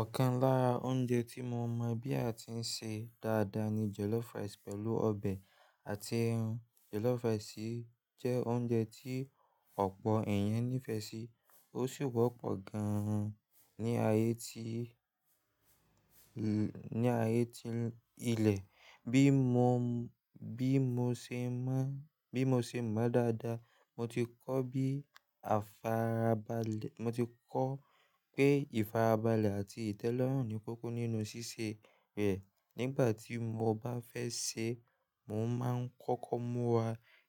Ọ̀kan lára oúnjẹ tí mo mọ̀ bí a ti ń ṣe dáadáa ni jollof rice pẹ̀lú ọbẹ̀ àti ẹran. Jollof rice jẹ́ oúnjẹ tí ọ̀pọ̀ èèyàn nífẹ̀ẹ́ sí, ó sì wọ́pọ̀ gan-an ní ayétí, ní ayétí ilẹ̀. Bí mo, bí mo ṣe mọ́, bí mo ṣe mọ̀ dáadáa, mo ti kọ́ bí àfarabalẹ̀, mo ti kọ́ pé ìfarabalẹ̀ àti ìtẹ́lọ́rùn ni kókó nínú ṣíṣe rẹ̀. Nígbà tí mo bá fẹ́ sè é, mo máa ń kọ́kọ́ múra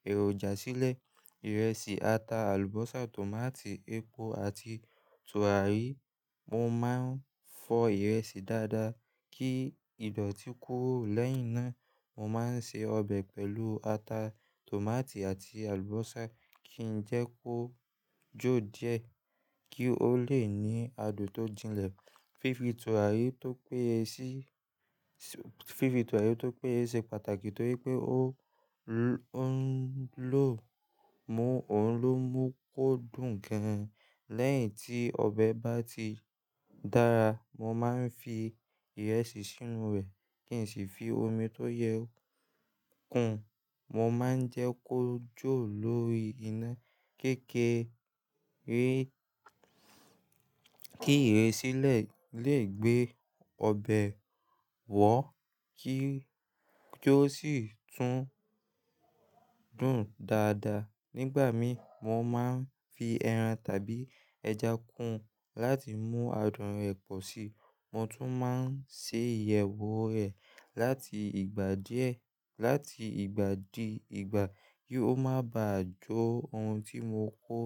èròjà sílẹ̀: ìrẹsì, ata, àlùbọ́sà, tòmátì, epo àti tùràrí. Mo máa ń fọ ìrẹsì dáadáa kí ìdọ̀tí kuro lẹ́yìn náà. Mo máa ń ṣe ọbẹ̀ pẹ̀lú ata, tòmátì àti àlùbọ́sà kí n jẹ́ kó jó díẹ̀ kí ó lè ní adùn tó jìnlẹ̀. Fi fi tùràrí tó péye sí, fi fi tùàrí tó péye se pàtàkì torí pé ó ń lò, mú òhun ló n mú kó dùn gan-an. Lẹ́yìn tí ọbẹ̀ bá ti dára, mo máa ń fi ìrẹsì sínú rẹ̀ kí n sì fi omi tó yẹ kun. Mo máa ń jẹ́ kó jó lórí iná kékeré kí ìrẹ́sí lẹ̀ lè gbé ọbẹ̀ wọ̀ kí ó sì tún dùn dáadáa. Nígbà mí, mo máa ń fi ẹran tàbí ẹja kún láti mú adùn rẹ̀ pọ̀ sí i. Mo tún máa ń ṣe ìyẹ̀wò rẹ̀ láti ìgbà díẹ̀, láti ìgbà di ìgbà kí ó má bà jọ́. Ohun tí mo kó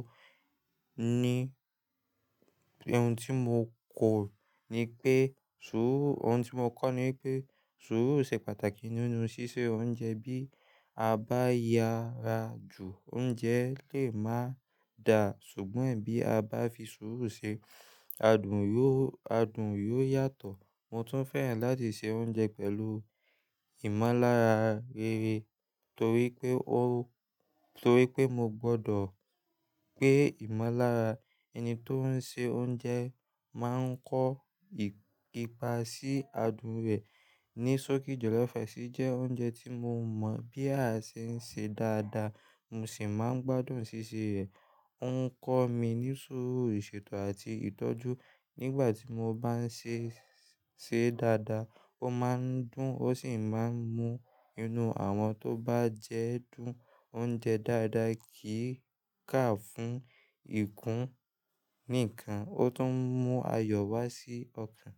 ní, ohun tí mo kò ní pé sùúrù, ohun tí mo kọ́ ní wipé sùúrù ṣe pàtàkì nínú ṣíṣe oúnjẹ. Bí a bá ya ra jù, oúnjẹ lè má dà, ṣùgbọ́n bí a bá fi sùúrù ṣe, adùn yó, adùn yó yàtọ̀. Mo tún fẹ́ràn láti se oúnjẹ pẹ̀lú ìmọ̀lára rere torí pé ó, torí pé mo gbọ́dọ̀ pé ìmọ̀lára ẹni tó ń se oúnjẹ máa ń kó ipa sí adùn rẹ̀. Nisoki jollof rice jẹ́ oúnjẹ tí mo mọ̀ bí a ṣe ń ṣe dáadáa, mo sì máa ń gbádùn ṣíṣe rẹ̀. Ó ń kọ́ mi ní sùúrù ìṣètò àti ìtọ́jú. Nígbà tí mo bá ń ṣe é ṣe dáadáa, ó máa ń dùn, ó sì máa ń mú inú àwọn tó bá jẹ́ dùn oúnjẹ dáadáa kìí ká fún ìkún níkan, ó tún mú ayọ̀ wá sí ọkàn.